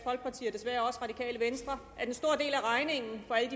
desværre også radikale venstre at en stor del af regningen på alt